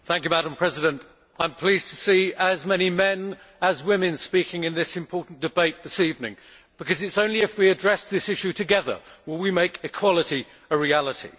Madam President, I am pleased to see as many men as women speaking in this important debate this evening, because it is only if we address this issue together that we can make equality a reality.